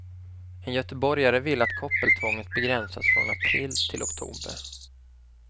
En göteborgare vill att koppeltvånget begränsas från april till oktober.